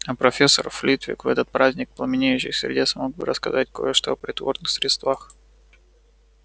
а профессор флитвик в этот праздник пламенеющих сердец мог бы рассказать кое-что о приворотных средствах